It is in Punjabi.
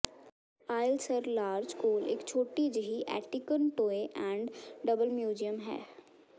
ਆਇਲ ਸਰ ਲਾਰਜ ਕੋਲ ਇਕ ਛੋਟੀ ਜਿਹੀ antique and toy and doll museum ਹੈ